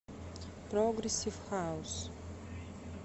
прогрессив хаус